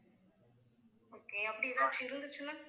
okay அப்படி ஏதாச்சும் இருந்துச்சுன்னா